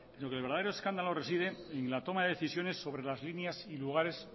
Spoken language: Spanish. sino que el verdadero escándalo reside en la toma de decisiones sobre las líneas y lugares